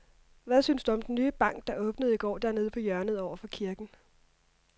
Hvad synes du om den nye bank, der åbnede i går dernede på hjørnet over for kirken?